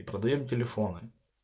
и продаём телефоны